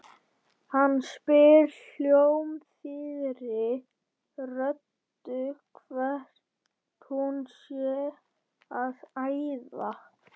Hann spyr hljómþýðri röddu hvert hún sé að æða.